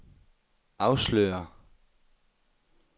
afslører